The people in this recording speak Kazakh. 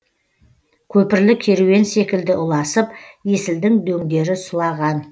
көпірлі керуен секілді ұласып есілдің дөңдері сұлаған